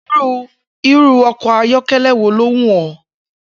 Irú o̩kò̩ ayó̩ké̩lé̩ wo ló wù ó̩?